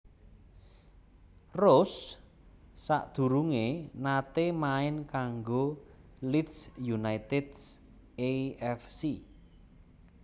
Rose sadurungé naté main kanggo Leeds United A F C